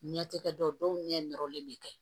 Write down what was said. Ɲɛtikɛ dɔw ɲɛ nɔrɔlen bɛ kɛ